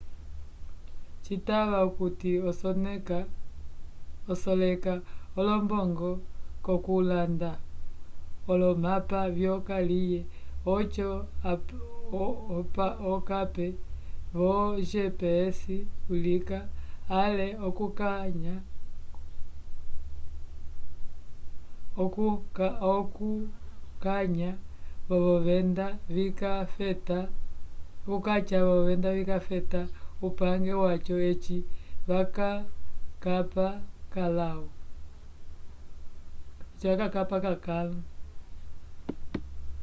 citava okuti oseleka olombongo k'okulanda olomapa vyokaliye oco okape vo gps ulika ale okukãha k'olovenda vikafeta upange waco eci vakakapa k'akãlu